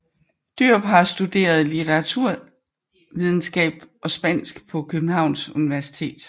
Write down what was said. Djørup har studeret litteraturvidenskab og spansk på Københavns Universitet